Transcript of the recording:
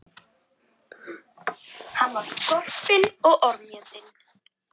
Síðan fór hún hingað norður alfarin.